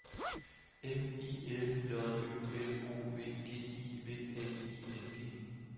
M I L J Ø L O V G I V N I N G